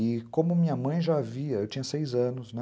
E como minha mãe já havia, eu tinha seis anos, né?